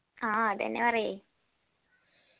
ആ അതന്നെ പറയ്